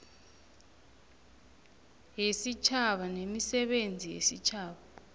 yesitjhaba nemisebenzi yesitjhaba